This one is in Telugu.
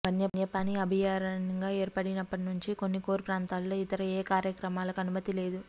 వన్యప్రాణి అభయారణ్యంగా ఏర్పడినప్పటి నుంచి కొన్ని కోర్ ప్రాంతాల్లో ఇతర ఏ కార్యకలాపాలకు అనుమతి లేదు